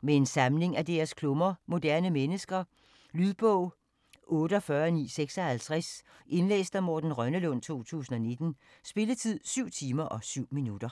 Med en samling af deres klummer "Moderne mennesker". Lydbog 48956 Indlæst af Morten Rønnelund, 2019. Spilletid: 7 timer, 7 minutter.